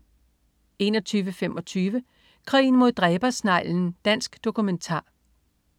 21.25 Krigen mod dræbersneglen. Dansk dokumentar